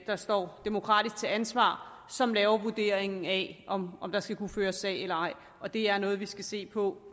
der står demokratisk til ansvar som laver vurderingen af om om der skal kunne føres en sag eller ej det er noget vi skal se på